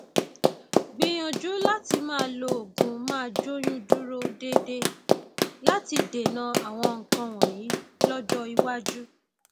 bákan náà o tún lè lo ìpara glyaha glyaha koj hydroquinone ní òru